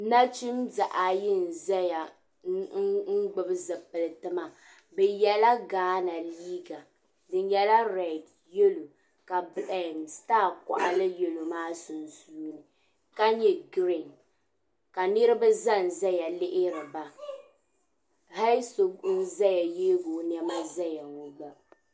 Nachimbihi ayi n-zaya n-gbubi zipiliti maa bɛ yela Ghana liiga di nyɛla redi yello ka sitaa kɔɣili yelo maa sunsuuni ka nyɛ giriin ka niriba za n-zaya lihiri ba hali so n-zaya yeegi o nɛma zaya ŋɔ.